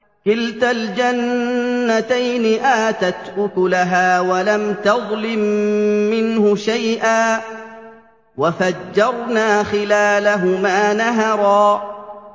كِلْتَا الْجَنَّتَيْنِ آتَتْ أُكُلَهَا وَلَمْ تَظْلِم مِّنْهُ شَيْئًا ۚ وَفَجَّرْنَا خِلَالَهُمَا نَهَرًا